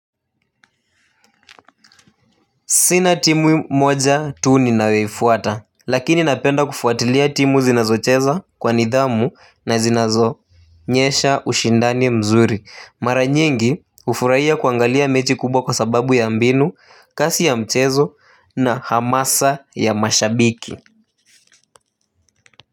Sina timu moja tu ni nayoifuata lakini napenda kufuatilia timu zinazocheza kwa nidhamu na zinazo onyesha ushindani mzuri mara nyingi hufurahiya kuangalia mechi kubwa kwa sababu ya mbinu kasi ya mchezo na hamasa ya mashabiki.